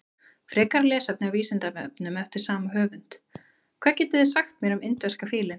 Frekara lesefni á Vísindavefnum eftir sama höfund: Hvað getið þið sagt mér um indverska fílinn?